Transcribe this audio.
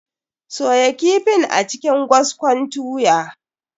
Soya kifin a cikin gwaskon tuya.